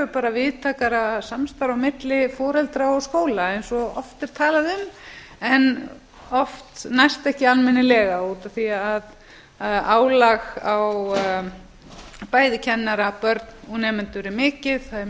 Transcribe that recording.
bara víðtækara samstarf á milli foreldra og skóla eins og oft er talað um en oft næst ekki almennilega út af því að álag á bæði kennara börn og nemendur er mikið það er